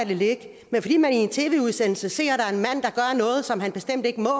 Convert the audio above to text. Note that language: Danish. det ligge men fordi man i en tv udsendelse ser at noget som han bestemt ikke må